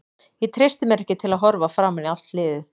Ég treysti mér ekki til að horfa framan í allt liðið.